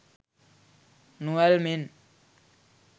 නොඇල්මෙන්